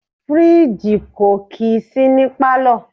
Fridge kò kì í sí ní palo.